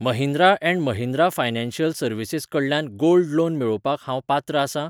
Mahindra and Mahindra Financial Services कडल्यान gold loan मेळोवपाक हांव पात्र आसां?